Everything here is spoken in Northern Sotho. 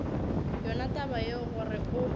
yona taba yeo gore o